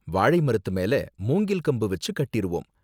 வாழை மரத்து மேல மூங்கில் கம்பு வெச்சு கட்டிருவோம்.